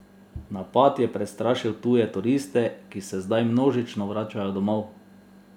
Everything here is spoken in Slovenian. Napad je prestrašil tuje turiste, ki se zdaj množično vračajo domov.